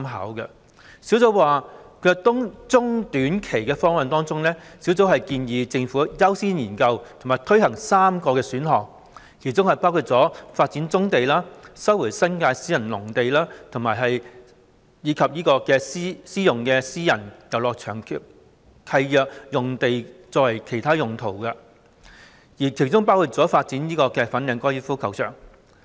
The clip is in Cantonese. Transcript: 專責小組建議在短中期方案方面，政府應優先研究和推行3個選項，包括：發展棕地、收回新界私人農地及利用私人遊樂場契約用地作其他用途，包括發展粉嶺高爾夫球場。